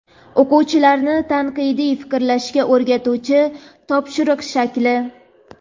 O‘quvchilarni tanqidiy fikrlashga o‘rgatuvchi topshiriq shakli.